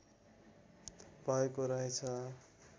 भएको रहेछ